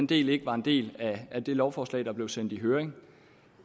det ikke var en del af det lovforslag der blev sendt i høring